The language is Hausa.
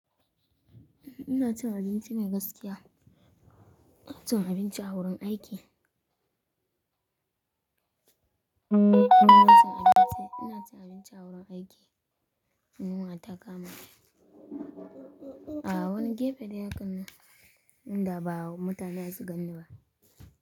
Ina cin abinci mai gaskiya. Ina cin abinci a wurin aiki. Ina cin abinci a wurin aiki. Yunwa, ta kama ni. A wani gefe ɗaya kan nan. Da ba mutane zasu ganni ba.